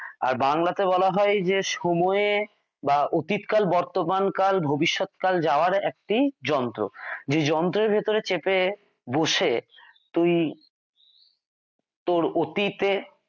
আর বাংলাতে বলা হয় যে সময়ে বা অতীতকাল বর্তমানকাল ভবিষ্যৎকাল যাওয়ার একটি যন্ত্র। যেই যন্ত্রের ভিতর চেপে বসে তুই তোর অতীতে